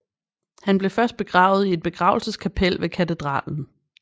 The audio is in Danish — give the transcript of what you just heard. Han blev først begravet i et begravelseskapel ved katedralen